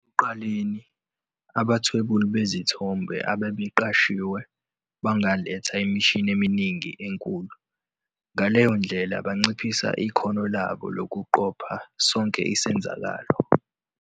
Ekuqaleni, abathwebuli bezithombe abaqeqeshiwe bangaletha imishini eminingi enkulu, ngaleyo ndlela banciphise ikhono labo lokuqopha sonke isenzakalo.